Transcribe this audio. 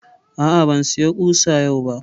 A'a, ban saya ƙusa yau ba